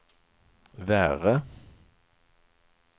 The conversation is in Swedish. värre